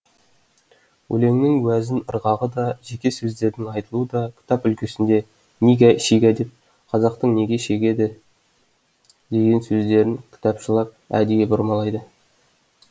өлеңнің уәзін ырғағы да жеке сөздердің айтылуы да кітап үлгісінде нигә шигә деп қазақтың неге шегеді деген сөздерін кітапшылап әдейі бұрмалайды